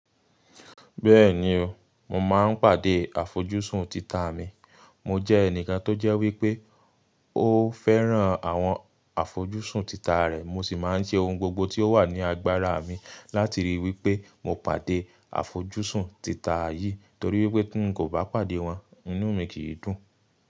Bẹ́ẹ̀ni o, mo máa ń pàdé àfojúsùn tita mi. Mo jẹ́ ẹnìkan tó jẹ́ wípé ó fẹ́ràn àwọn àfojúsùn tita rẹ̀. Mo sì máa ń ṣe ohun gbogbo tí ó wà ní agbára mi láti ríi wípé mo pàdé àfojúsùn tita yìí torí wípé tí ń kò bá pàdé wọn, inú mi kì í dùn.